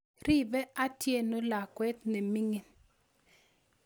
riipe Atieno lakwet nemining